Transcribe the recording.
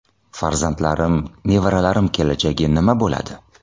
Farzandlarim, nevaralarim kelajagi nima bo‘ladi?